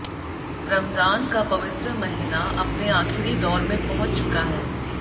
रमजान का पवित्र महीना अपने आखिरी दौर में पहुंच चुका है